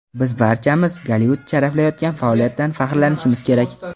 Biz barchamiz Gollivud sharaflayotgan faoliyatdan faxrlanishimiz kerak.